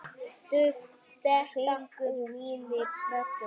Fingur mínir snerta blóð þitt.